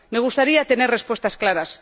Me gustaría tener respuestas claras.